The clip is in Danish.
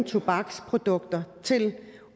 tobaksprodukter til